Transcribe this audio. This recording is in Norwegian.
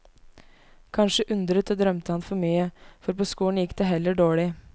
Kanskje undret og drømte han for mye, for på skolen gikk det heller dårlig.